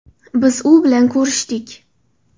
Biz u bilan ko‘rishdik.